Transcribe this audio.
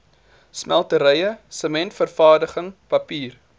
smelterye sementvervaardiging papier